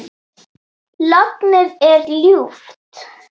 Lognið er ljúft.